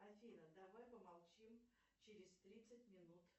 афина давай помолчим через тридцать минут